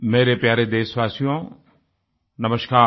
मेरे प्यारे देशवासियो नमस्कार